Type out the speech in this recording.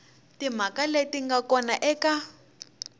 timhaka leti nga kona eka